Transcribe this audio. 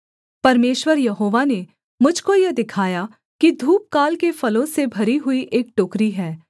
परमेश्वर यहोवा ने मुझ को यह दिखाया कि धूपकाल के फलों से भरी हुई एक टोकरी है